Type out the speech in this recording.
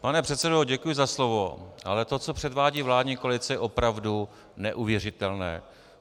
Pane předsedo, děkuji za slovo, ale to, co předvádí vládní koalice, je opravdu neuvěřitelné.